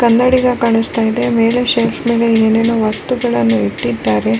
ಕನ್ನಡಿಗೆ ಕಾಣಿಸ್ತಾ ಇದೆ ಮೆಲೆ ಶೆಲ್ಫ್ ನಗೆ ಏನೆನೊ ವಸ್ತುಗಳನ್ನು ಇಟ್ಟಿದ್ದಾರೆ.